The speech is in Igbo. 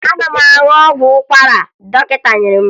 Ana m aṅụ ọgwụ ụkwara dọkịta nyere m